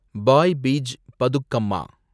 பாய் Beej Bathukamma